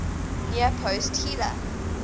near post header